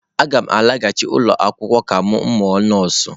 Aga m alaghachi ụlọ akwụkwọ ka m mụọ nọọsụ.